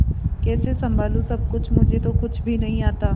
कैसे संभालू सब कुछ मुझे तो कुछ भी नहीं आता